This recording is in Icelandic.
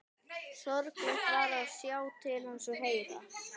Sorglegt var að sjá til hans og heyra.